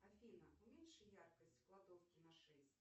афина уменьши яркость в кладовке на шесть